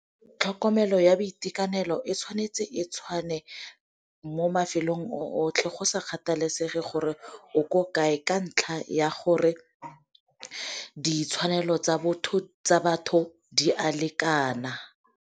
Tlhokomelo ya boitekanelo e tshwanetse e tshwane mo mafelong otlhe go sa kgathalesege gore o ko kae, ka ntlha ya gore ditshwanelo tsa batho di a lekana.